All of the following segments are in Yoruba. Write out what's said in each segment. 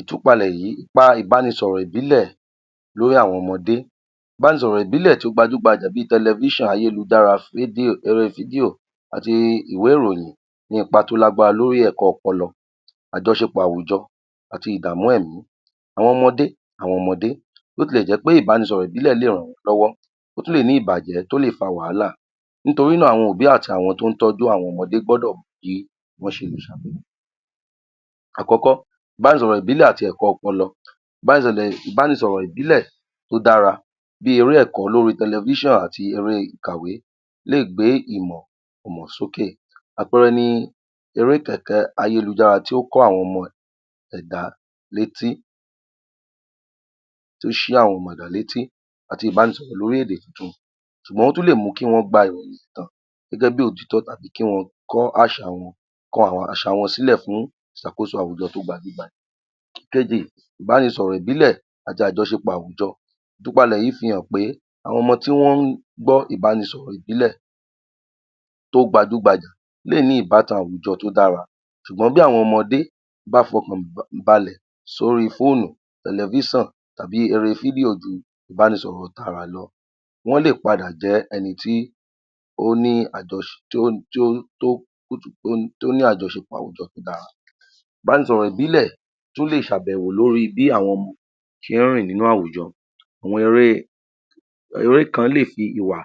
Ìtúpalẹ̀ ipa ìbánisọ̀rọ̀ ìbílẹ̀ lórí àwọn ọmọde, ìbánisọ̀rọ̀ ìbílẹ̀ tí ó gbajú-gbajàbi tẹlẹfísàn, ayélujára, fídíò àti ìwẹ́ ìròyìn ní ipa tó lágbára lórí ẹ̀kọ ọpọlọ, àjọṣepọ̀ àwùjọ àti ìdàmú ẹ̀mí àwọn ọmode, bo ti lẹ̀ jẹ́ pé ìbánisọ̀rọ̀ ìbílẹ̀ lè ràn wọ́n lọ́wọ́, ó tún lè ní ìbàjẹ́ tó lè fa wàhálà nítorí náà àwọn òbí àti àwọn tó ń tójú àwọn ọmọde gbọ́dọ̀ ní bí wọ́n ṣe lè. Àkọ́kọ́, ìbánisọ̀rọ̀ ìbílẹ̀ àti ẹ̀kọ ọpọlọ, ìbánisọ̀rọ̀ ìbílẹ̀ tó dára bí eré ẹ̀kọ́ lóri tẹlẹfíṣàn àti ẹ̀rọ ìkàwé lè gbé ìmọ̀ sókè, àpẹẹrẹ ni, eré kẹ̀kẹ́ ayélujára tí ó ń kó àwọn ọmọ ẹ̀dá létí, tó ṣí àwọn ọmọ ẹnìyàn létí àti ìbánisọ̀rọ̀ lórí èdè tuntun ṣùgbọ́n ó tún lè mú kí wọ́n gba ìròyìn tán gẹ́gẹ́ bí òtítọ́ àbí kí wọ́n kọ́ àṣà wọn, kọ àwọn àṣà wọn sílẹ̀ fún ìṣàkóso àwùjọ tó gbajú-gbajà. Ìkejì, ìbánisọ̀rọ̀ ìbílẹ̀ àti àjọṣepọ̀ àwùjọ, ìtúpalẹ̀ yí fi hàn pé àwọn ọmọ tí wọ́n ń gbọ́ ilbánisọ̀rọ̀ ìbílẹ̀ to gbajú-gbajà lè ní ìbátan àwùjọ tí ó dára ṣụ̀gbọ́n bí àwọn ọmọdé bá fọkànbalẹ̀ sóri fóònù, tẹlẹfíṣàn tàbí eré fídíò ju ìbánisọ̀rọ̀ tààrà lọ, wọ́n lè padà jẹ́ ẹni tí ó ni àjọṣepọ̀ tó dára. Ìbánisọ̀rọ̀ ìbílẹ̀ tún lè ṣàbẹ̀wò lórí bí àwọn ọmọ ṣe ń rìn nínú àwùjọ àwọn eré kan lè fi ìwà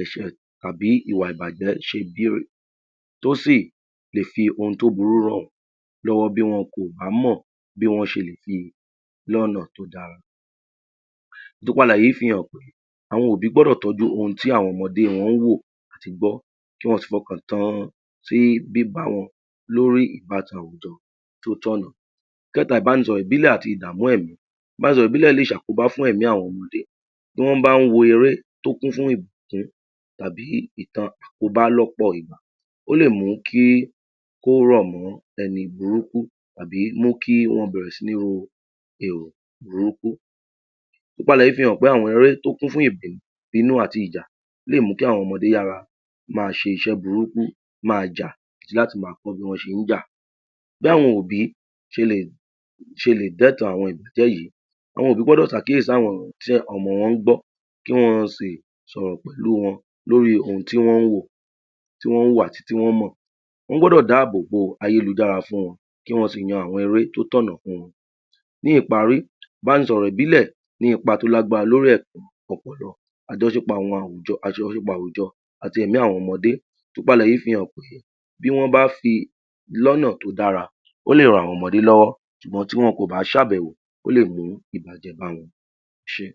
ẹ̀ṣẹ̀ àbí ìwà ìbàjẹ́ ṣe bí tó sì lè fi ohun tó burú ràn wọ́n lọ́wọ́ bí wọn kò bá mọ̀ bí wọ́n ṣe lè fi lé ọ̀nà tó da. Gbogbo àlàyé fi hàn, àwọn òbí gbọdọ̀ tọ́jú ohun tí àwọn ọmọde wọn ó wò àti gbọ́ kí wọ́n sì fọkàn tan tí bíbá wọn lórí ìbitan àwùjọ tí ó tọ̀nà. Ìkẹ́ta, ìbánisọ̀rọ̀ ìbílẹ̀ àti ìdàmú ẹ̀mí, ìbánisọ̀rọ̀ ìbílẹ̀ lè ṣàkóbá fún ẹ̀mí àwọn ọmọdé, tí wọ́n bá ń wo eré tó kún fún ìbùkùn tàbí ìtàn àkóbá lọ́pọ̀ ìgbà, ó lè mú kí ó rọ̀ mọ́ ẹni burúkú àbí mú kí ó bẹ̀rẹ̀ sí ní ro èrò burúkú. Ìtúpalè yí fi hàn pé àwọn erè tó kún fún, ìbínú àti ìjà lè mú kí àwọn ọmọde yára ma ṣe iṣẹ́ burúkú, máa jà àti láti ma kọ́ bí wọ́n ṣe ń jà. Bí àwọn òbí ṣe lè dẹ́tan àwọn yí, àwọn òbí gbọ́dọ̀ ṣàkíyèsí si àwọn nǹkan tí ọmọ wọ́n ń gbọ́, kí wọ́n sì sọ̀rọ̀ pẹ̀lú wọn lórí ohun tí wọ́n ń wò àti tí wọ́n mọ̀, wọ́n gbọ́dọ̀ dáàbò bo ayélujára fún wọn, kí wọ́n sì yan àwọn eré tí ó tọ̀nà fún wọn. Ní ìparí, ìbánisọ̀rọ̀ ìbílẹ̀ ní ipa tó lágbára lórí àjọṣepọ̀ àwùjọ àti ẹ̀mí àwọn ọmọdé, ìtúpalẹ̀ yí fi hàn pé bí wọ́n bá fi lọ́nà tó dára ó lè ran àwọn ọmọde lọ́wọ́ ṣùgbọ́n tí wọn kò bá ṣàbẹ̀wò ó lè mú ìbàjẹ́ bá wọn. Ẹ ṣé.